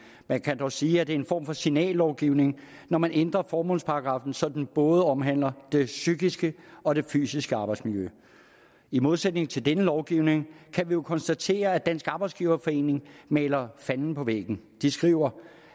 man kan dog sige at det er en form for signallovgivning når man ændrer formålsparagraffen så den både omhandler det psykiske og det fysiske arbejdsmiljø i modsætning til denne lovgivning kan vi jo konstatere at dansk arbejdsgiverforening maler fanden på væggen de skriver